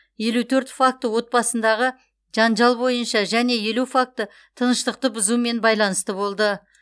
елу төрт факті отбасындағы жанжал бойынша және елу факті тыныштықты бұзумен байланысты болды